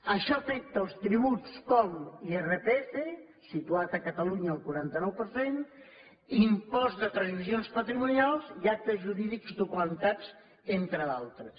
això afecta els tributs com l’irfp situat a catalunya al quaranta nou per cent impost de transmissions patrimonials i actes jurídics documentats entre d’altres